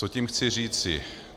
Co tím chci říct?